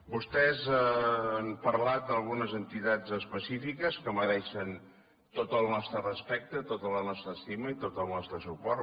vostès han parlat d’algunes entitats específiques que mereixen tot el nostre respecte tota la nostra estima i tot el nostre suport